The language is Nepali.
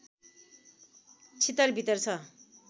छितरवितर छ